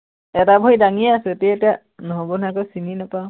এটা ভৰি ডাঙিয়েই আছো, এতিয়া এতিয়া নহব নহয় আকৌ চিনি নাপাওঁ।